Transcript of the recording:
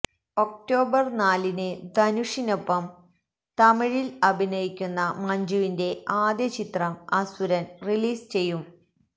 October നാലിന് ധനുഷിനൊപ്പം തമിഴില് അഭിനയിക്കുന്ന മഞ്ജുവിന്റെ ആദ്യ ചിത്രം അസുരന് റിലീസ് ചെയ്യും